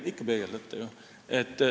Ikka peegeldate ju.